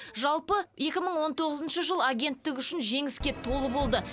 жалпы екі мың он тоғызыншы жыл агенттік үшін жеңіске толы болды